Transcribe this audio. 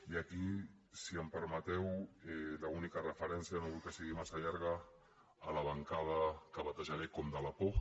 i aquí si em permeteu l’única referència no vull que sigui massa llarga a la bancada que batejaré com de la por